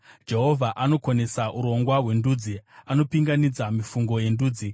Jehovha anokonesa urongwa hwendudzi; anopinganidza mifungo yendudzi.